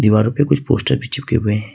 दीवारों पे कुछ पोस्टर भी चिपके हुए हैं।